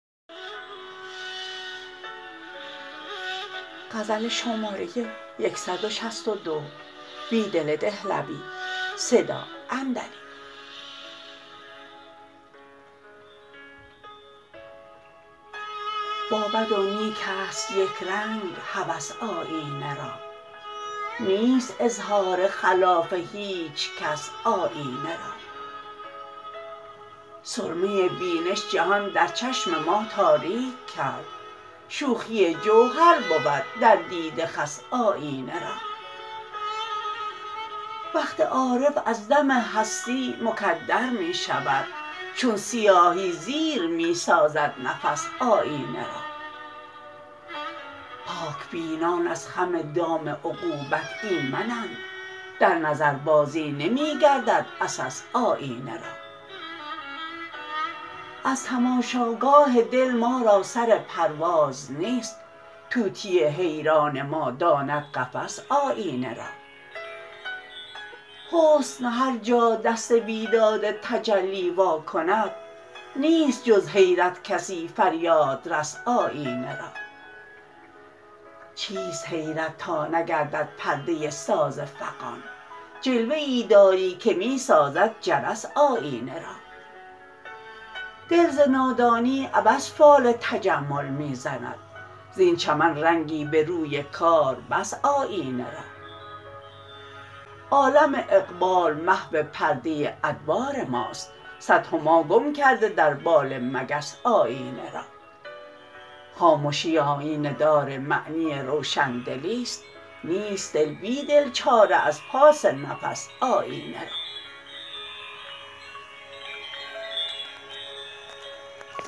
با بد ونیک است یک رنگ هوس آیینه را نیست اظهار خلاف هیچکس آیینه را سرمه بینش جهان در چشم ماتاریک کرد شوخی جوهر بود در دیده خس آیینه را وقت عارف از دم هستی مکدر می شود چون سیاهی زیر می سازد نفس آیینه را پاک بینان از خم دام عقوبت ایمنند در نظربازی نمی گردد عسس آیینه را از تماشاگاه دل ما را سر پرواز نیست طوطی حیران ما داند قفس آیینه را حسن هرجا دست بیداد تجلی واکند نیست جز حیرت کسی فریادرس آیینه را چیست حیرت تانگردد پردة ساز فغان جلوه ای داری که می ساز د جرس آیینه را دل ز نادانی عبث فال تجمل می زند زین چمن رنگی به روی کاربس آیینه را عالم اقبال محو پرده ادبار ماست صد هماگم کرده در بال مگس آیینه را خامشی آیینه دار معنی روشن دلی ست نیست بیدل چاره ازپاس نفس آیینه را